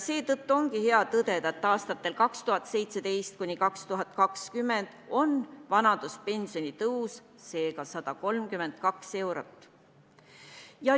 Seetõttu ongi hea tõdeda, et aastatel 2017–2020 tõuseb vanaduspension seega 132 eurot.